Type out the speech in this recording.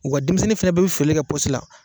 Wa u ka denmisɛnnin fana bɛɛ bɛ foli kɛ pɔsi la.